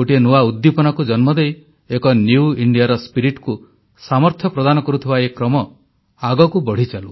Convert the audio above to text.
ଗୋଟିଏ ନୂଆ ଉଦ୍ଦୀପନାକୁ ଜନ୍ମ ଦେଇ ଏକ ନିଉ ଇଣ୍ଡିଆର ସ୍ପିରିଟକୁ ସାମର୍ଥ୍ୟ ପ୍ରଦାନ କରୁଥିବା ଏ କ୍ରମ ଆଗକୁ ବଢ଼ିଚାଲୁ